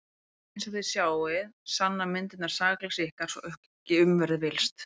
En einsog þið sjáið þá sanna myndirnar sakleysi ykkar svo að ekki verður um villst.